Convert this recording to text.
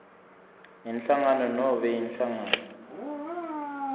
inhlangano nobe inhlangano